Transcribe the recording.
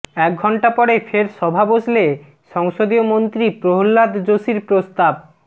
এক ঘণ্টা পরে ফের সভা বসলে সংসদীয় মন্ত্রী প্রহ্লাদ জোশীর প্রস্তাব